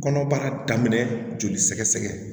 Kɔnɔbara daminɛ joli sɛgɛsɛgɛ